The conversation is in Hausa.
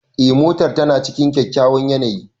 Eh, motar tana cikin kyakkyawan yanayi.